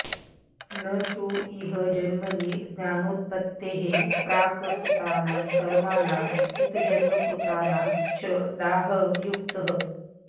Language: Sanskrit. न तु इह जन्मनि ज्ञानोत्पत्तेः प्राक् कृतानां कर्मणां अतीतजन्मकृतानां च दाहः युक्तः